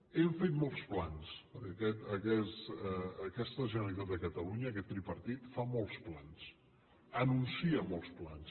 hem fet molts plans perquè aquesta generalitat de catalunya aquest tripartit fa molts plans anuncia molts plans